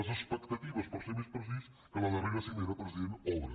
les expectatives per ser més precís que la darrera cimera president obre